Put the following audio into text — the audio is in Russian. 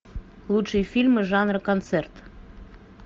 лучшие фильмы жанра концерт